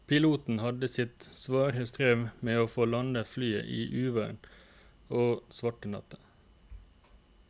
Piloten hadde sitt svare strev med å få landet flyet i uvær og svart natt.